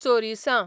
चोरिसां